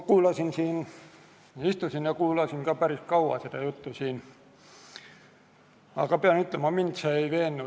Ma istusin ja kuulasin päris kaua seda juttu siin, aga pean ütlema, et mind see ei veennud.